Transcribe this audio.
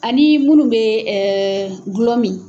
Ani munnu bɛ glɔ min.